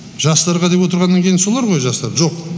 жастарға деп отырғаннан кейін солар ғой жастар жоқ